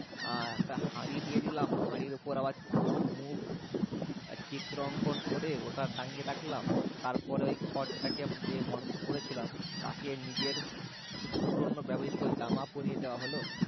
হম একটা হাঁড়ি দিয়ে দিলাম হাঁড়ির ওপর আবার চোখ মুখ চিত্র অঙ্কন করে ওটা টাঙিয়ে রাখলাম তারপরে ওই খড়টা কে যে মানুষ করেছিলাম তাকে নিজের পুরোনো ব্যবহৃত জামা পরিয়ে দেওয়া হলো